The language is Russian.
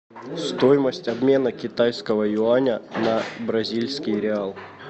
стоимость обмена китайского юаня на бразильский реал